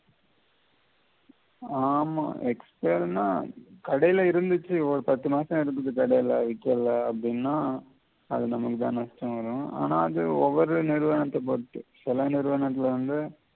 ஆமா expired னா கடைல இருந்திச்சி ஒரு பத்து மாசம் இருந்துது கடைல விக்கல்ல அப்படின்னா அது நமக்கு தான் நஷ்டம் வரும் ஆனா அது ஒவ்வொரு நிறுவனத்த பொறுத்து சில நிறுவனத்தில வந்து